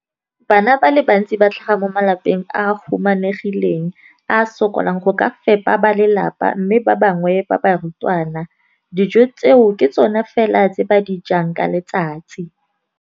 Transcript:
Bana ba le bantsi ba tlhaga mo malapeng a a humanegileng a a sokolang go ka fepa ba lelapa mme ba bangwe ba barutwana, dijo tseo ke tsona fela tse ba di jang ka letsatsi.